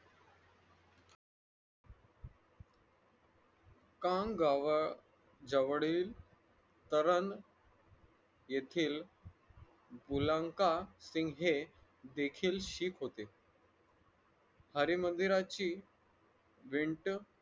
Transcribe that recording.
कांगावा जवळील तरण येथील बुळांखा सिंग हे देखील शीख होते अरे मगीराची विंट